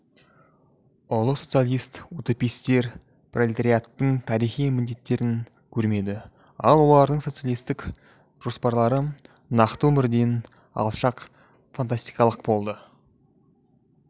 ұлы социалист-утопистер пролетариаттың тарихи міндеттерін көрмеді ал олардың социалистік жоспарлары нақты өмірден алшақ фантастикалық болды